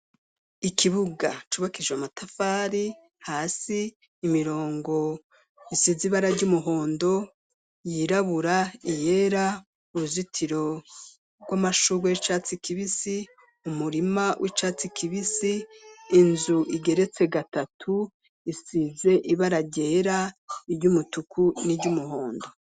Ikibuga cubakijwe amatafari ,hasi imirongo isize ibara ry'umuhondo ,yirabura ,iyera uruzitiro rw'amashugwe y'icatsi kibisi ,umurima w'icatsi kibisi ,inzu igeretse gatatu, isize ibara ryera , iry'umutuku, n'iry'umuhondo.